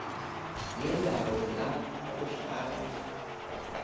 yendawo la kuhlala